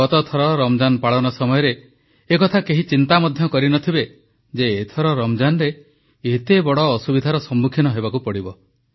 ଗତଥର ରମଜାନ ପାଳନ ସମୟରେ ଏ କଥା କେହି ଚିନ୍ତା ମଧ୍ୟ କରିନଥିବେ ଯେ ଏଥର ରମଜାନରେ ଏତେ ବଡ଼ ଅସୁବିଧାର ସମ୍ମୁଖୀନ ହେବାକୁ ପଡ଼ିବ